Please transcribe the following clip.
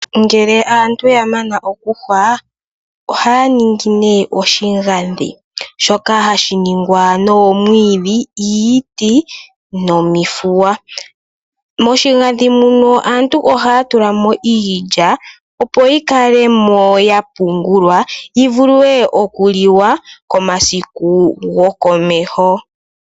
Ngele aantu ya mana oku yungula oha ningi nee oshigadhi shoka hashi ningwa noomwiidhi, iiti nomihuya. Moshigadhi muno aantu ohaya tulamo iilya opo yi kale mo yapungulwa yi vule oku liwa komasiku gokomeho.